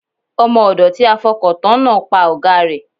Ọmọ ọ̀dọ̀ tí a fọkàn tán náà pa ọ̀gáa rẹ̀.